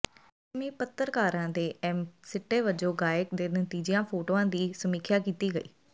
ਪੱਛਮੀ ਪੱਤਰਕਾਰਾਂ ਦੇ ਇਹ ਸਿੱਟੇ ਵਜੋਂ ਗਾਇਕ ਦੇ ਤਾਜੀਆਂ ਫੋਟੋਆਂ ਦੀ ਸਮੀਖਿਆ ਕੀਤੀ ਗਈ